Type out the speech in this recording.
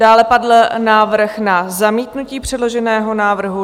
Dále padl návrh na zamítnutí předloženého návrhu.